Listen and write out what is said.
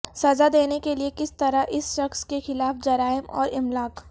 سزا دینے کے لئے کس طرح اس شخص کے خلاف جرائم اور املاک